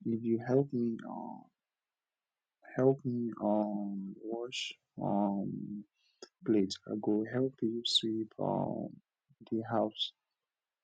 if you help me um help me um wash um plate i go help you sweep um di house